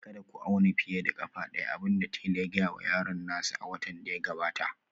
Kada ku auna fiye da ƙafa ɗaya, abin da tela ya gaya wa yaron nasa a watan da ya gabata